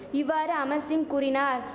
இவ்வாறு அமர்சிங் கூறினார்